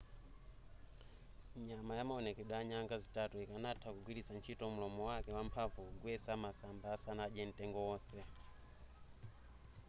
nyama ya maonekedwe a nyanga zitatu ikanatha kugwiritsa ntchito mulomo wake wamphamvu kugwetsa masamba asanadye mtengo wonse